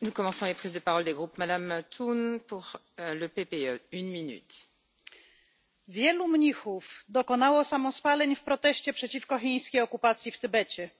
Pani Przewodnicząca! Wielu mnichów dokonało samospaleń w proteście przeciwko chińskiej okupacji w Tybecie,